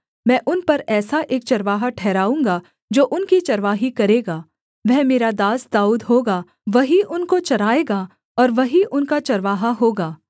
मैं उन पर ऐसा एक चरवाहा ठहराऊँगा जो उनकी चरवाही करेगा वह मेरा दास दाऊद होगा वही उनको चराएगा और वही उनका चरवाहा होगा